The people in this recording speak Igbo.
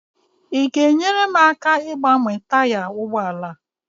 ị ga-enyere m aka ịgbanwe taya ụgbọ ala a?